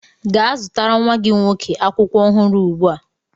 Gaa zụtara nwa gị nwoke akwụkwọ ọhụrụ ugbu a!